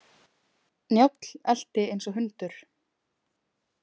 Njáll elti eins og hundur.